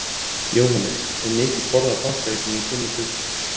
Jóhannes: Er mikið borðað af páskaeggjum í þinni fjölskyldu?